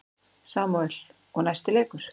Samúel: Og næsti leikur.